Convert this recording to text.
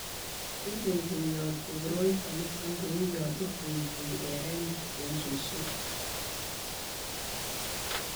ikuikuyoti koroito nito kou ya ikuikui erene eng' suswek